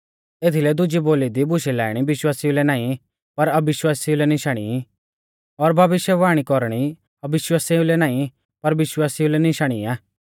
एथीलै दुजी बोली दी बुशै लाइणी विश्वासिउ लै नाईं पर अविश्वासिऊ लै निशानी ई और भविष्यवाणी कौरणी अविश्वासिऊ लै नाईं पर विश्वासिऊ लै निशाणी आ